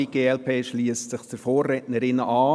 Die glp schliesst sich der Vorrednerin an.